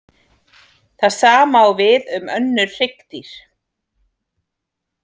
Það sama á við um önnur hryggdýr.